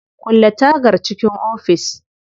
Kulle tagar cikin ofis.